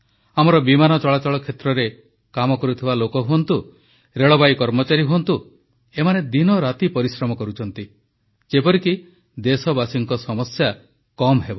ଆମର ବିମାନ ଚଳାଚଳ କ୍ଷେତ୍ରରେ କାମ କରୁଥିବା ଲୋକ ହୁଅନ୍ତୁ ରେଳବାଇ କର୍ମଚାରୀ ହୁଅନ୍ତୁ ଏମାନେ ଦିନରାତି ପରିଶ୍ରମ କରୁଛନ୍ତି ଯେପରିକି ଦେଶବାସୀଙ୍କ ସମସ୍ୟା କମ୍ ହେବ